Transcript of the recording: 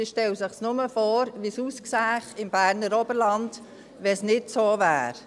Man stelle sich nur vor, wie es im Berner Oberland aussähe, wenn es nicht so wäre.